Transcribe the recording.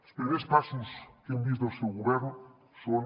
els primers passos que hem vist del seu govern són